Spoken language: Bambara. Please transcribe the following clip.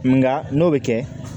Nka n'o bɛ kɛ